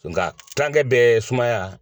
Nga kilankɛ bɛɛ ye sumaya.